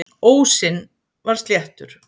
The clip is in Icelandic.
Ósinn var sléttur.